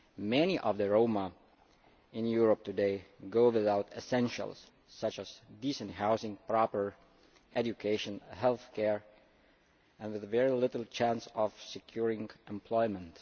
Many of the Roma in Europe today go without essentials such as decent housing, proper education and healthcare and have very little chance of securing employment.